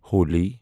Holi